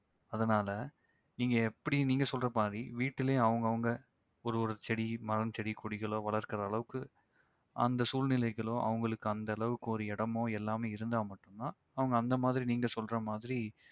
அதனால நீங்க எப்படி நீங்க சொல்ற மாதிரி வீட்டிலயும் அவங்க அவங்க ஒரு ஒரு செடி மரம் செடி கொடிகளோ வளர்க்கிற அளவுக்கு அந்த சூழ்நிலைகளோ அவங்களுக்கு அந்த அளவுக்கு ஒரு இடமோ எல்லாமே இருந்தா மட்டும் தான் அவங்க அந்த மாதிரி நீங்க சொல்ற மாதிரி